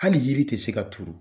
Hali yiri tɛ se ka turu.